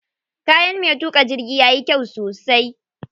Kayan me tuƙa jirgin yayi kyau sosai.